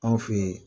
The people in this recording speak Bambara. Anw fe ye